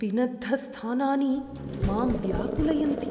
पिनद्धस्थानानि मां व्याकुलयन्ति।